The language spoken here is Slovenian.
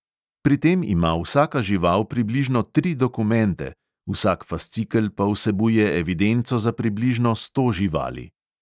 Pri tem ima vsaka žival približno tri dokumente, vsak fascikel pa vsebuje evidenco za približno sto živali.